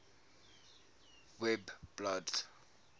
webblad